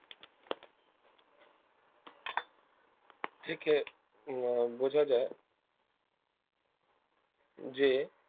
থেকে উম বোঝা যায় যে